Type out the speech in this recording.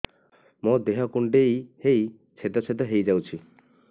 ମୋ ଦେହ କୁଣ୍ଡେଇ ହେଇ ଛେଦ ଛେଦ ହେଇ ଯାଉଛି